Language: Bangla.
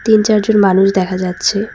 তিন চার জন মানুষ দেখা যাচ্ছে।